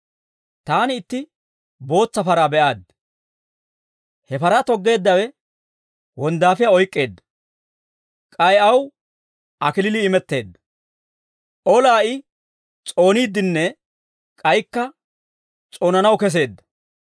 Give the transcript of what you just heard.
Taani itti bootsa paraa be'aaddi. He paraa toggeeddawe wonddaafiyaa oyk'k'eedda; k'ay aw kalachchay imetteedda. Olaa I s'ooniiddinne k'aykka s'oonanaw keseedda.